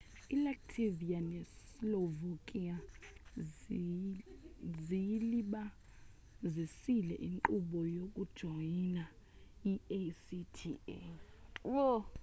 ilatvia neslovakia ziyilibazisile inkqubo yokujoyina i-acta